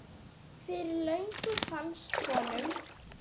Fyrir löngu fannst honum.